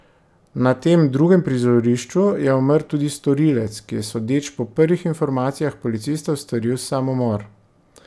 Na tem drugem prizorišču je umrl tudi storilec, ki je sodeč po prvih informacijah policistov storil samomor.